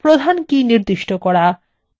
5 প্রধান কী নির্দিষ্ট করা